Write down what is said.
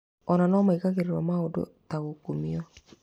Ona nomaigagĩrĩrwo maũndũ ta ngukumio